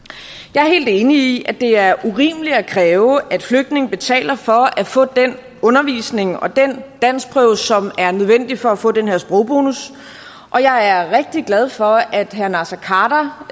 jeg er helt enig i at det er urimeligt at kræve at flygtninge betaler for at få den undervisning og den danskprøve som er nødvendig for at få den her sprogbonus og jeg er rigtig glad for at herre naser khader